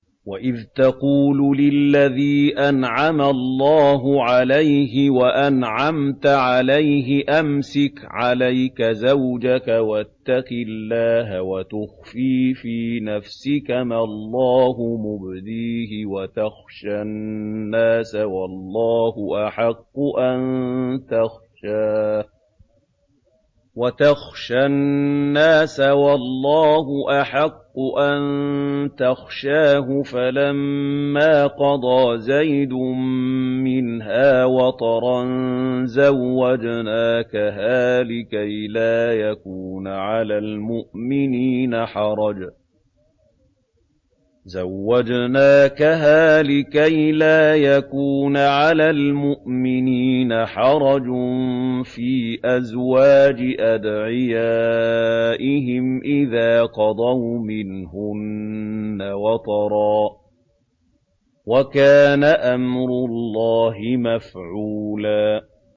وَإِذْ تَقُولُ لِلَّذِي أَنْعَمَ اللَّهُ عَلَيْهِ وَأَنْعَمْتَ عَلَيْهِ أَمْسِكْ عَلَيْكَ زَوْجَكَ وَاتَّقِ اللَّهَ وَتُخْفِي فِي نَفْسِكَ مَا اللَّهُ مُبْدِيهِ وَتَخْشَى النَّاسَ وَاللَّهُ أَحَقُّ أَن تَخْشَاهُ ۖ فَلَمَّا قَضَىٰ زَيْدٌ مِّنْهَا وَطَرًا زَوَّجْنَاكَهَا لِكَيْ لَا يَكُونَ عَلَى الْمُؤْمِنِينَ حَرَجٌ فِي أَزْوَاجِ أَدْعِيَائِهِمْ إِذَا قَضَوْا مِنْهُنَّ وَطَرًا ۚ وَكَانَ أَمْرُ اللَّهِ مَفْعُولًا